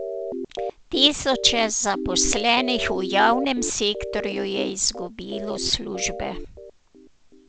Tisoče zaposlenih v javnem sektorju je izgubilo službe.